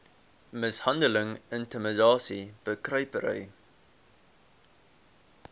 mishandeling intimidasie bekruipery